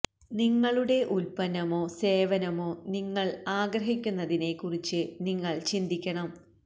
നിങ്ങളുടെ ഉത്പന്നമോ സേവനമോ നിങ്ങൾ ആഗ്രഹിക്കുന്നതിനെ കുറിച്ച് നിങ്ങൾ ചിന്തിക്കണം